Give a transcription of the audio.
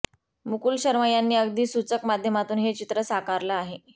मुकुल शर्मा यांनी अगदी सूचक माध्यमातून हे चित्र साकारलं आहे